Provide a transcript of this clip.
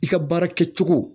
I ka baara kɛ cogo